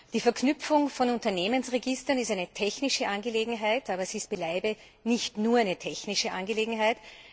Die Verknüpfung von Unternehmensregistern ist eine technische Angelegenheit, aber sie ist beileibe nicht nur eine technische Angelegenheit.